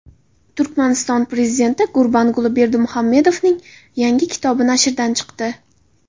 Turkmaniston Prezidenti Gurbanguli Berdimuhamedovning yangi kitobi nashrdan chiqdi.